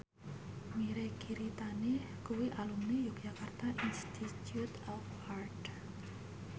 Mirei Kiritani kuwi alumni Yogyakarta Institute of Art